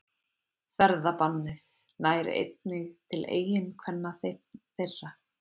Ferðabannið nær einnig til eiginkvenna þeirra